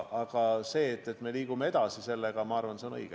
Aga see, et me sellega edasi liigume, on minu arvates õige.